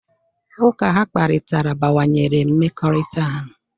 Ụka ha kparịtara bawanyere mmekọrịta ha.